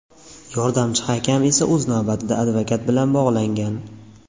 Yordamchi hakam esa o‘z navbatida advokat bilan bog‘langan.